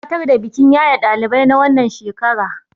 za a gabatar da bikin yaye ɗalibai na wannan shekara